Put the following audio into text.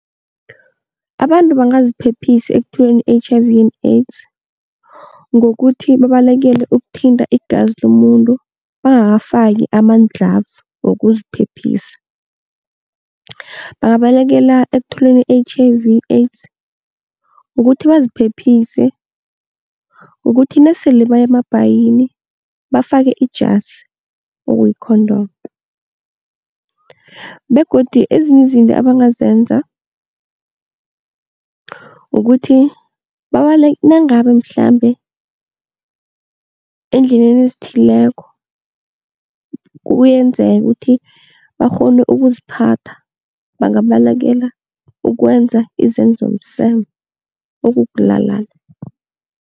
Abantu bangaziphephisa ekutholeni i-H_I_V and AIDS ngokuthi babalekele ukuthinta igazi lomuntu bangakafaki amadlhavu wokuziphephisa. Bangabalekela ekutholeni i-H_I-V and AIDS ngokuthi baziphephise ngokuthi nasele baya emabhayini bafake ijazi, okuyi-condom begodu ezinye izinto ebangazenza kukuthi, nangabe mhlambe eendleleni ezithileko kuyenzeka ukuthi bakghone ukuziphatha bangabalekela ukwenza izenzo zomseme, okukulalana.